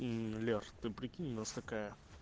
лер ты прикинь у нас такая